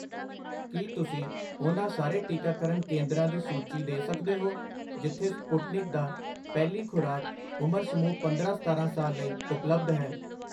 ਕੀ ਤੁਸੀਂ ਉਹਨਾਂ ਸਾਰੇ ਟੀਕਾਕਰਨ ਕੇਂਦਰਾਂ ਦੀ ਸੂਚੀ ਦੇ ਸਕਦੇ ਹੋ ਜਿੱਥੇ ਸਪੁਟਨਿਕ ਦਾ ਪਹਿਲੀ ਖੁਰਾਕ ਉਮਰ ਸਮੂਹ ਪੰਦਰਾਂ ਸਤਾਰਾਂ ਸਾਲ ਲਈ ਉਪਲਬਧ ਹੈ?